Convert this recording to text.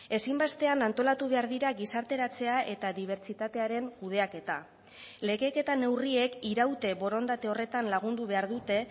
ezinbestean antolatu behar dira gizarteratzea eta dibertsitatearen kudeaketa legeek eta neurriek iraute borondate horretan lagundu behar dute